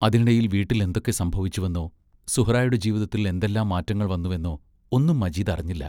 അതിനിടയിൽ വീട്ടിൽ എന്തൊക്കെ സംഭവിച്ചുവെന്നോ, സുഹ്റായുടെ ജീവിതത്തിൽ എന്തെല്ലാം മാറ്റങ്ങൾ വന്നുവെന്നോ ഒന്നും മജീദ് അറിഞ്ഞില്ല.